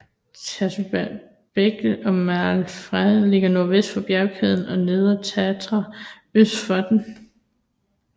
Turiecbekkenet og Malá Fatra ligger nordvest for bjergkæden og Nedre Tatra øst for den